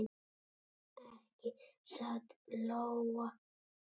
Ekki satt Lóa?